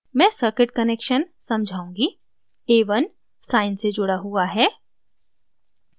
मैं circuit connections समझाऊँगी a1 sine से जुड़ा हुआ है